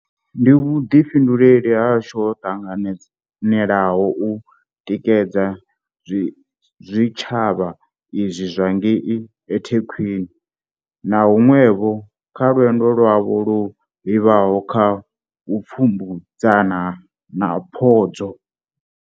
Ndi vhuḓifhinduleli hashu ho ṱanganelaho u tikedza zwitsha vha izwi zwa ngei eThekwini na huṅwevho kha lwendo lwavho lwo livhaho kha vhupfumedzani na phodzo.